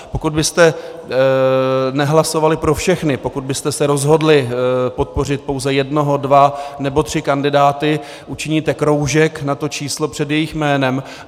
Pokud byste nehlasovali pro všechny, pokud byste se rozhodli podpořit pouze jednoho, dva nebo tři kandidáty, učiníte kroužek na to číslo před jejich jménem.